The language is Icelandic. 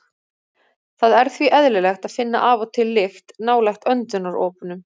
Það er því eðlilegt að finna af og til lykt nálægt öndunaropunum.